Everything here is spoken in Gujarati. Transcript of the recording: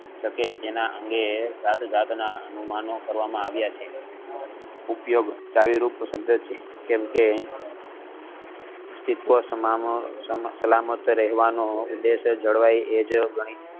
પછી તેના અંગે જાત જાત ના અનુમાનો કરવામાં આવિયા છે ઉપયોગ ચાવી રૂપ સંદેશ છે કારણ કે સલામત રહેવાનો ઉદેશ જણાય એ જ ગણિત